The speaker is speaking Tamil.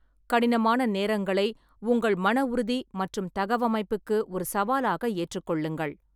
கடினமான நேரங்களை உங்கள் மன உறுதி மற்றும் தகவமைப்புக்கு ஒரு சவாலாக ஏற்றுக்கொள்ளுங்கள்.